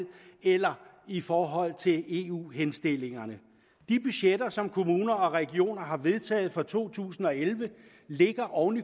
eller i forhold til eu henstillingerne de budgetter som kommuner og regioner har vedtaget for to tusind og elleve ligger oven